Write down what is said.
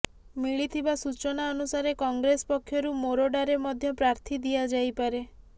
ମିଳିଥିବା ସୂଚନା ଅନୁସାରେ କଂଗ୍ରେସ୍ ପକ୍ଷରୁ ମୋରଡ଼ାରେ ମଧ୍ୟ ପ୍ରାର୍ଥୀ ଦିଆଯାଇପାରେ